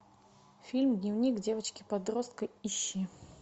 фильм дневник девочки подростка ищи